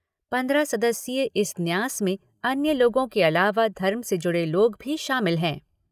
पंद्रह सदस्यीय इस न्यास में अन्य लोगों के अलावा धर्म से जुड़े लोग भी शामिल हैं।